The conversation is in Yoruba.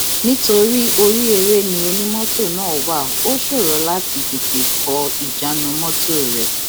nítorí orí eré ni onímọtò náà wà ó ṣòro láti tètè kọ ìjánu mọtò rẹ